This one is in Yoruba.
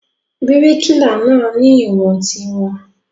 Bíríkìlà náà ni ìwọ̀n tiwọn.